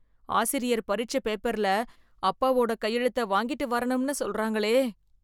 ஆசிரியர் பரிட்சை பேப்பர்ல, அப்பாவோட கையெழுத்தை வாங்கிட்டு வரணும்னு சொல்றாங்களே...